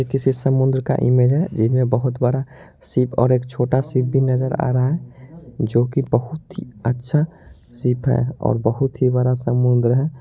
ये किसी समुन्द्र का इमेज है जिसमें बोहोत बड़ा शिप और एक छोटा शिप भी नजर आ रहा है जो की बोहोत ही अच्छा शिप है और बोहोत ही बड़ा समुन्द्र है ।